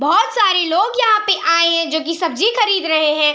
बोहोत सारे लोग यहाँ पे आये हैं जो की सब्जी खरीद रहे हैं।